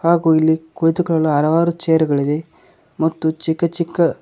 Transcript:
ಹಾಗು ಇಲ್ಲಿ ಕುಳಿತುಕೊಳ್ಳ ಹಲವಾರು ಚೇರಗಳಿವೆ ಮತ್ತು ಚಿಕ್ಕ ಚಿಕ್ಕ--